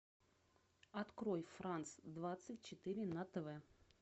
открой франс двадцать четыре на тв